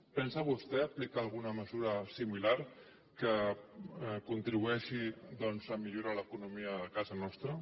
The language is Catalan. pensa vostè aplicar alguna mesura similar que contribueixi doncs a millorar l’economia a casa nostra